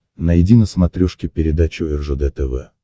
найди на смотрешке передачу ржд тв